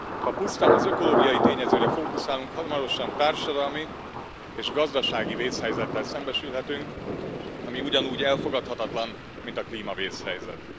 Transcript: Ha pusztán az ökológiai tényezőre fókuszálunk, hamarosan társadalmi és gazdasági vészhelyzettel szembesülhetünk, ami ugyanúgy elfogadhatatlan, mint a klímavészhelyzet.